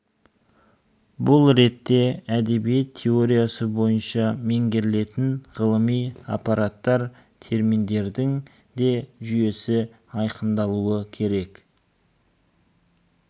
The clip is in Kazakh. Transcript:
бұл ретте әдебиет теориясы бойынша меңгертілетін ғылыми аппараттар терминдердің де жүйесі айқындалуы керек